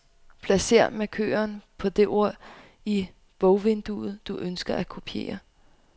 Placer markøren på det ord i bogvinduet, du ønsker at kopiere.